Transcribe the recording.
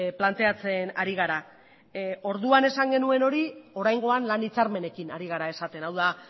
planteatzen ari gara orduan esan genuen hori oraingoan lan hitzarmenekin ari gara esaten hau da